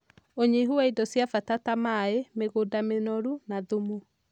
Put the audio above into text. ũnyihu wa indo cia bata ta maĩ, mĩgũnda mĩnoru, na thumu